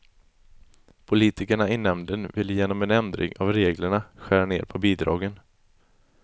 Politikerna i nämnden vill genom en ändring av reglerna skära ner på bidragen.